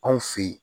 Anw fe yen